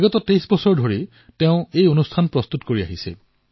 বিগত ২৩ বছৰ ধৰি তেওঁ এই কাৰ্যসূচী প্ৰস্তুত কৰি আহিছে